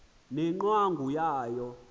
ne ngcwangu yayo